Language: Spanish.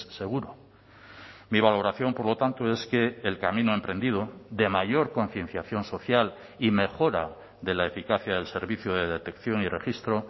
seguro mi valoración por lo tanto es que el camino emprendido de mayor concienciación social y mejora de la eficacia del servicio de detección y registro